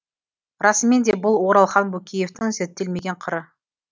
расымен де бұл оралхан бөкеевтің зерттелмеген қыры